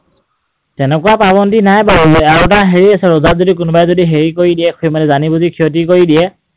তেনেকুৱা পাবন্ধী নাই বাৰু, আৰু এটা হেৰি আছে ৰোজাত যদি কোনোবাই যদি হেৰি কৰি দিয়ে মানে জানি বুজি ক্ষতি কৰি দিয়ে